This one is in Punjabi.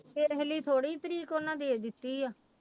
ਵੇਖ ਲਈ ਥੋੜ੍ਹੀ ਤਰੀਕ ਉਹਨਾਂ ਦੇ ਦਿੱਤੀ ਆ।